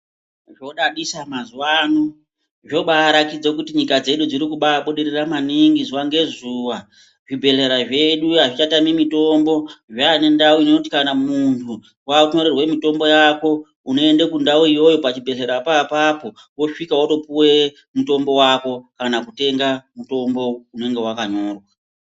Zvodadisa mazuwano. Zvobaratidza kuti nyika dzedu dzirikubabudirira maningi zuwa ngezuwa, zvibhedhlera zvedu azvichatami mitombo zvane ndau inoti kana muntu wakunyorerwa mitombo yako unoende kundau iyoyo pachibhedhlerapo apapo wosvika wotopuwa mutombo wako kana kutenga mutombo unenge wakanyorwa.